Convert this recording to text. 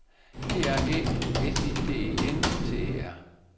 P R Æ S I D E N T E R